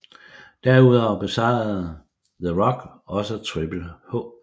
Derudover besejrede The Rock også Triple H